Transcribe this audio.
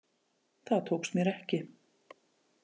Það tókst mér ekki.